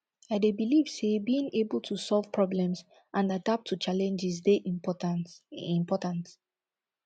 i dey believe say being able to solve problems and adapt to challenges dey important important